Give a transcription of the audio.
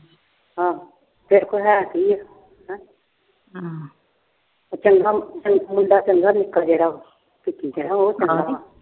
ਚੰਗਾ, ਮੁੰਡਾ ਚੰਗਾ ਨਿਕਲ ਜੇ ਗਾ